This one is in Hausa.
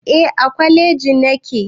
Eh a kwaleji nake